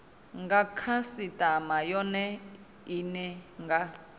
nga khasitama yone ine nga